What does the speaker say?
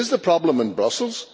Is the problem in Brussels?